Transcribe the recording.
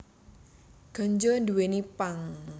Ganja nduwèni pang